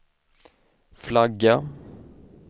flagga